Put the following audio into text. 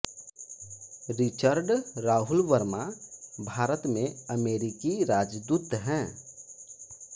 Richard Rahul Verma Bharat में अमेरिकी राजदूत हैं